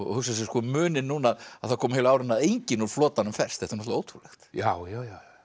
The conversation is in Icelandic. hugsa sér muninn núna að það koma heilu árin að enginn úr flotanum ferst þetta er ótrúlegt já já já